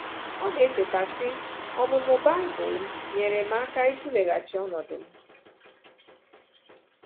Ọ na-echeta, sị: “Ọmụmụ Baịbụl m nyeere m aka ịtụleghachi ọnọdụ m.